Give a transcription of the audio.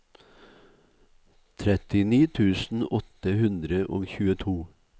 trettini tusen åtte hundre og tjueto